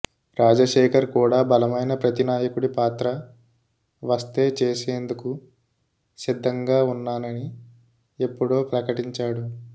రాజశేఖర్ కూడా బలమైన ప్రతినాయకుడి పాత్ర వస్తే చేసేందుకు సిద్ధంగా ఉన్నానని ఎప్పుడో ప్రకటించాడు